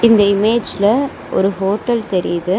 இந்த இமேஜ்ல ஒரு ஹோட்டல் தெரியிது.